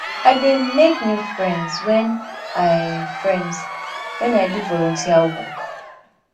i dey make new friends wen i friends wen i do volunteer work